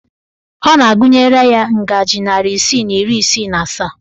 Ọ na-agụnyere ya ngajị narị isii na iri isii na asaa